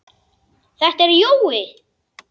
Þetta er Jói!